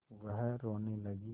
वह रोने लगी